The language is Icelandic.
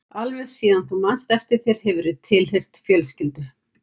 Alveg síðan þú manst eftir þér hefurðu tilheyrt fjölskyldu.